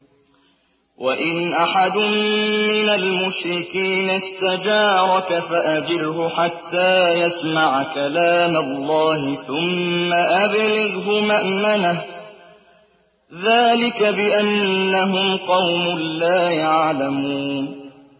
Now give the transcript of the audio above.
وَإِنْ أَحَدٌ مِّنَ الْمُشْرِكِينَ اسْتَجَارَكَ فَأَجِرْهُ حَتَّىٰ يَسْمَعَ كَلَامَ اللَّهِ ثُمَّ أَبْلِغْهُ مَأْمَنَهُ ۚ ذَٰلِكَ بِأَنَّهُمْ قَوْمٌ لَّا يَعْلَمُونَ